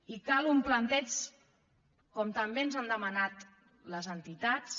i cal un planteig com també ens han demanat les entitats